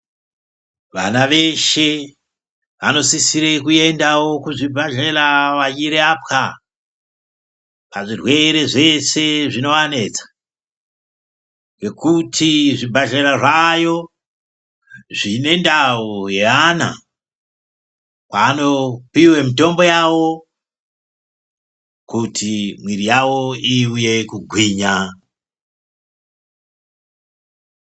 Vana veshe vanosisire kuendavo kuzvibhadhlera vachirapwa, pazvirwere zveshe zvinovanetsa, ngokuti zvibhadhlera zvaayo zvine ndau yeana kwaanopiwe mutombo yavo kuti muiri yavo ivuye kugwinya.